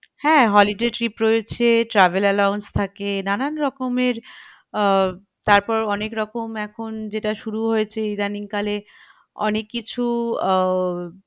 হ্যাঁ holiday trip রয়েছে travel allowance থাকে নানান রকমের আহ তারপর অনেক রকম এখন যেটা শুরু হয়েছে ইদানিং কালে অনেক কিছু আহ